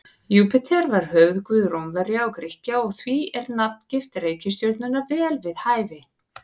Júpíter var höfuðguð Rómverja og Grikkja og því er nafngift reikistjörnunnar vel við hæfi.